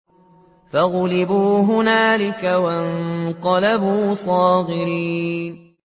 فَغُلِبُوا هُنَالِكَ وَانقَلَبُوا صَاغِرِينَ